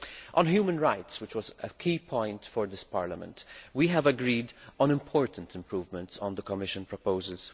On human rights which was a key point for this Parliament we have agreed on important improvements to the Commission proposal.